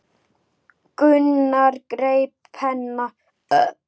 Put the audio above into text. Gunnar greip penna.